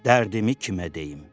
Dərdimi kimə deyim?